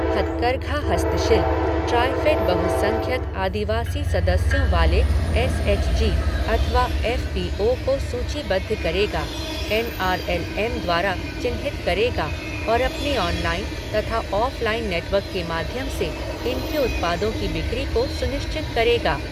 हथकरघा हस्तशिल्पः ट्राईफ़ेड बहुसंख्यक आदिवासी सदस्यों वाले एस एच जी अथवा एफ़ पी ओ को सूचीबद्ध करेगा, एन आर एल एम द्वारा चिन्हित करेगा और अपने ऑनलाइन तथा ऑफ़लाइन नेटवर्क के माध्यम से इनके उत्पादों की बिक्री को सुनिश्चित करेगा।